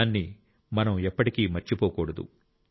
దాన్ని మనం ఎప్పటికీ మర్చిపోకూడదు